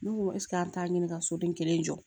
Ne ko ɛseke an t'a ɲini ka soden kelen jɔ